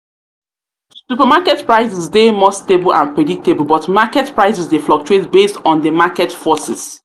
supermarket prices dey more stable and predictable but predictable but market prices dey fluctuate based on di market forces.